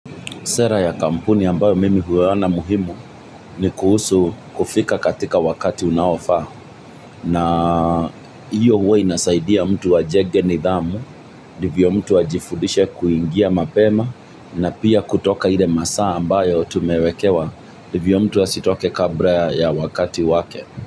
Sera ya kampuni ambayo mimi huyaona muhimu ni kuhusu kufika katika wakati unaofaa, na hiyo huwa inasaidia mtu ajenge nidhamu ndivyo mtu ajifundishe kuingia mapema na pia kutoka ile masaa ambayo tumewekewa ndivyo mtu asitoke kabla ya wakati wake.